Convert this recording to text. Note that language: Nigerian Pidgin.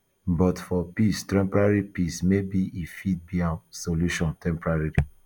but for peace temporary peace maybe e fit be um solution temporary